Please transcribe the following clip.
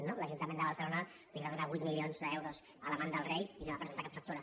no que l’ajuntament de barcelona li va donar vuit milions d’euros a l’amant del rei i no va presentar cap factura